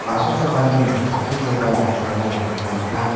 asongchakani chokkikoba iano nikna man·a.